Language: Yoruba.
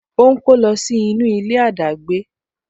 O ń kó lọ sí inú ilé adagbe